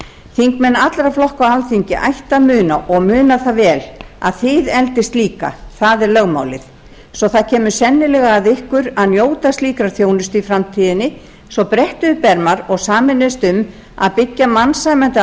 þingmenn allra flokka á alþingi ættu að muna og muna það vel að þið eldist líka það er lögmálið svo að það kemur sennilega að ykkur að njóta slíkrar þjónustu í framtíðinni svo brettum upp ermar og sameinist um að byggja mannsæmandi